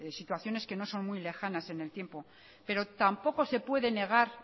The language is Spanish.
situaciones que no son muy lejanas en el tiempo pero tampoco se puede negar